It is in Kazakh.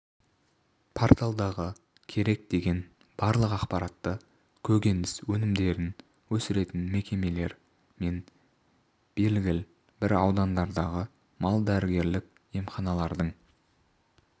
порталдағы керек деген барлық ақпаратты көкөніс өнімдерін өсіретін мекемелер мен белгіл бір аудандардағы мал-дәрігерлік емханалардың